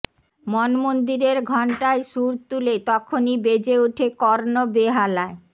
মন মন্দিরের ঘণ্টায় সুর তুলে তখনই বেজে ওঠে কর্ণবেহালায়